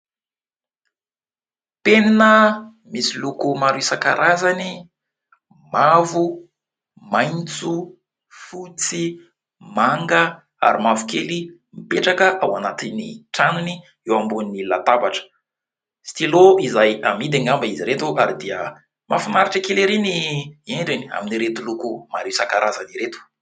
Penina misy loko maro isankarazany : mavo, maitso, fotsy, manga, ary mavokely ; mipetraka ao anatin'ny tranony eo ambony latabatra. Stylo izay amidy angamba izy ireto, ary dia mahafinaritra kely erỳ ny endriny, amin'ireto loko maro isankarazany ireto.